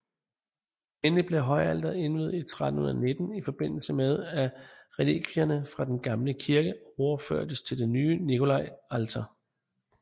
Endelig blev højalteret indviet i 1319 i forbindelse med at relikvierne fra den gamle kirke overførtes til det nye Nikolaialter